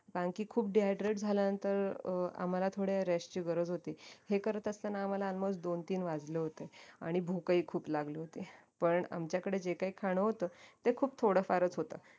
कारण की खूप dehydrate झाल्यानंतर अं आम्हाला थोड्या rest ची गरज होती हे करत असताना आम्हाला almost दोन तीन वाजले होते आणि भूक ही खूप लागली होती पण आमच्याकडे जे काही खाणं होते ते खूप थोडं फारच होत